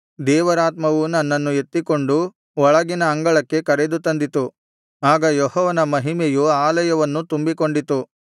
ದೇವರಾತ್ಮವು ನನ್ನನ್ನು ಎತ್ತಿಕೊಂಡು ಒಳಗಿನ ಅಂಗಳಕ್ಕೆ ಕರೆದು ತಂದಿತು ಆಗ ಯೆಹೋವನ ಮಹಿಮೆಯು ಆಲಯವನ್ನು ತುಂಬಿಕೊಂಡಿತು